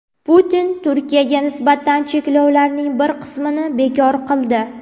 Putin Turkiyaga nisbatan cheklovlarning bir qismini bekor qildi.